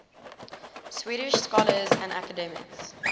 swedish scholars and academics